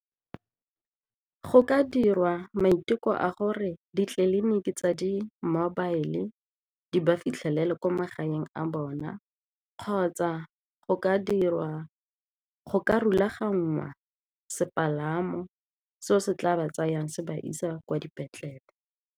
Go ka dirwa maiteko a gore ditleliniki tsa di-mobile di ba fitlhelela kwa magaeng a bona kgotsa go ka dirwa, go ka rulaganngwa sepalamo seo se tla ba tsayang se ba isa kwa dipetlele.